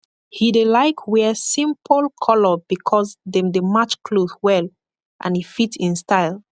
he dey laik wear simpol kolor bikos dem dey match kloth well and e fit en style